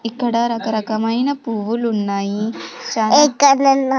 ఇక్కడ రకరకమైన పువ్వులున్నాయి స--